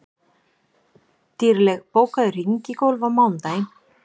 Dýrley, bókaðu hring í golf á mánudaginn.